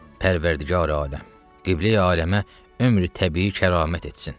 Pərvərdigari-aləm, Qibləyi-aləmə ömrü təbii kəramət etsin.